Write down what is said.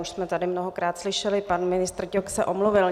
Už jsme tady mnohokrát slyšeli, pan ministr Ťok se omluvil.